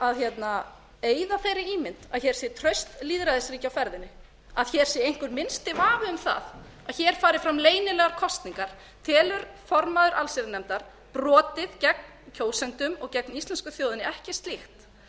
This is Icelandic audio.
að eyða þeirri ímynd að hér sé traust lýðræðisríki á ferðinni að hér sé einhver minnsti vafi um það að hér fari fram leynilegar kosningar telur formaður allsherjarnefndar brotið gegn kjósendum og gegn íslensku þjóðinni ekki slíkt